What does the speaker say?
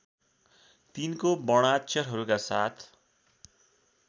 तिनको वर्णाक्षरहरूका साथ